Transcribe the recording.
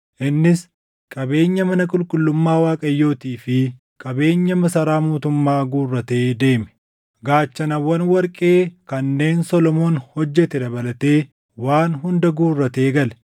Innis qabeenya mana qulqullummaa Waaqayyootii fi qabeenya masaraa mootummaa guurratee deeme. Gaachanawwan warqee kanneen Solomoon hojjete dabalatee waan hunda guurratee gale.